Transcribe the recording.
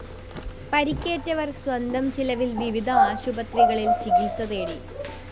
പരിക്കേറ്റവര്‍ സ്വന്തം ചെലവില്‍ വിവിധ ആശുപത്രികളില്‍ ചികിത്സ തേടി